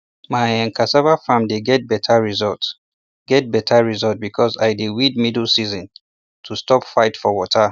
my um cassava farm dey get better result get better result because i dey weed middle season to stop fight for water